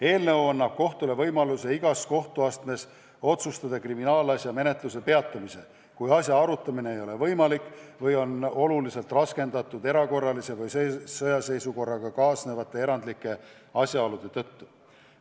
Eelnõu annab kohtule võimaluse igas kohtuastmes otsustada kriminaalasja menetluse peatamise üle, kui asja arutamine ei ole võimalik või on oluliselt raskendatud erakorralise või sõjaseisukorraga kaasnevate erandlike asjaolude tõttu.